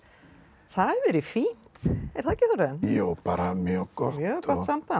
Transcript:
það hefur verið fínt er það ekki Þórarinn jú bara mjög gott mjög gott samband